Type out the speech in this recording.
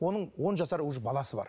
оның он жасар уже баласы бар